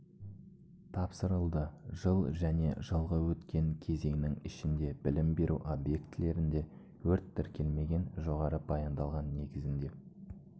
тапсырылды жыл және жылғы өткен кезеңнің ішінде білім беру объектілерінде өрт тіркелмеген жоғары баяндалған негізінде